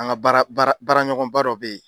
An ka baara baara baara ɲɔgɔnba dɔ bɛ yen.